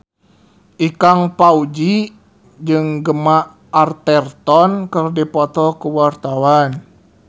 Ikang Fawzi jeung Gemma Arterton keur dipoto ku wartawan